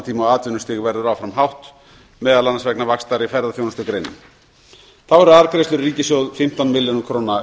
tíma og atvinnustig verður áfram hátt meðal annars vegna vaxtar í ferðaþjónustugreinum þá eru arðgreiðslur í ríkissjóð fimmtán milljarðar króna